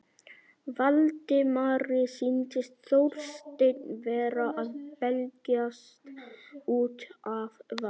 Valdimari sýndist Þorsteinn vera að belgjast út af van